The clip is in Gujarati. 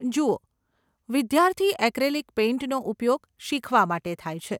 જુઓ, વિદ્યાર્થી એક્રેલિક પેઇન્ટનો ઉપયોગ શીખવા માટે થાય છે.